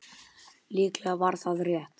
Líklega var það rétt.